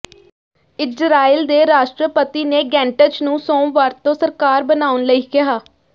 Israel ਦੇ ਰਾਸ਼ਟਰਪਤੀ ਨੇ ਗੈਂਟਜ਼ ਨੂੰ ਸੋਮਵਾਰ ਤੋਂ ਸਰਕਾਰ ਬਣਾਉਣ ਲਈ ਕਿਹਾ